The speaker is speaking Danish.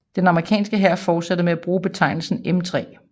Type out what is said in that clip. Den amerikanske hær fortsatte med at bruge betegnelsen M3